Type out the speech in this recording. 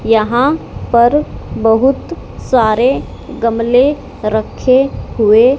यहां पर बहुत सारे गमले रखे हुए--